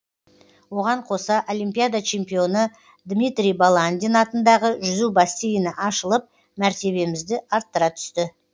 оған қоса олимпиада чемпионы дмитрий баландин атындағы жүзу бассейні ашылып мәртебемізді арттыра түсті